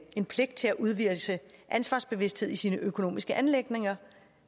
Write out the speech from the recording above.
en pligt til at udvise ansvarsbevidsthed i sine økonomiske anliggender